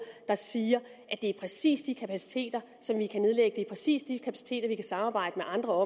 der siger at det er præcis de kapaciteter som vi kan nedlægge er præcis de kapaciteter vi kan samarbejde med andre